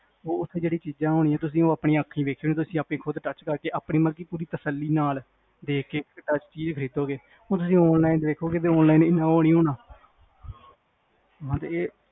ਹੁਣ ਉਹ ਜਿਹੜੀਆਂ ਚੀਜ਼ਾਂ ਹੋਣਗੀਆਂ ਤੁਸੀ ਆਪਣੀਆਂ ਆਪਣੀਆਂ ਵੇਖੋਗੇ ਆਪਣੀਆਂ ਖੁਦ touch ਕਰਕੇ ਆਪਣੀ ਤਸੱਲੀ ਨਾਲ ਹੁਣ ਤੁਸੀ online ਵੇਖੋਗੇ online ਉਹ ਨੀ ਹੋਣਾ